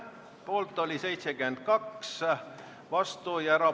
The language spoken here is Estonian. Hääletustulemused Aitäh!